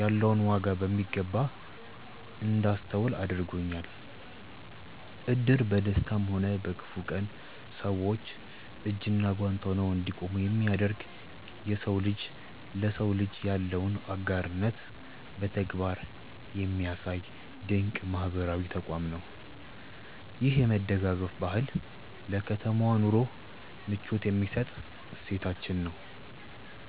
ያለውን ዋጋ በሚገባ እንዳስተውል አድርጎኛል። እድር በደስታም ሆነ በክፉ ቀን ሰዎች እጅና ጓንት ሆነው እንዲቆሙ የሚያደርግ፣ የሰው ልጅ ለሰው ልጅ ያለውን አጋርነት በተግባር የሚያሳይ ድንቅ ማህበራዊ ተቋም ነው። ይህ የመደጋገፍ ባህል ለከተማ ኑሮ ምቾት የሚሰጥ እሴታችን ነው።